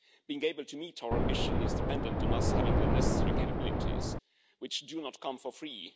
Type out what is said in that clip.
Being able to meet our ambition is dependent on us having the necessary capabilities, which do not come for free.